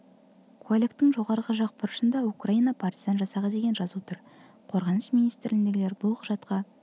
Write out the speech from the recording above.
куәліктің жоғарғы жақ бұрышында украина паритизан жасағы деген жазу тұр қорғаныс министрлігіндегілер бұл құжатқа